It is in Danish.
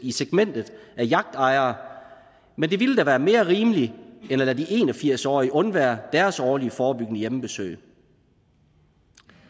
i segmentet af yachtejere men det ville da være mere rimeligt end at lade de en og firs årige undvære deres årlige forebyggende hjemmebesøg